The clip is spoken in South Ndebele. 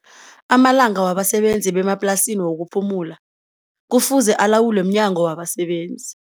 Amalanga wabasebenzi bemaplasini wokuphumula kufuze alawulwe mNyango wabaSebenzi.